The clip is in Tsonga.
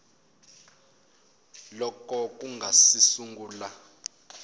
loko ku nga si sungula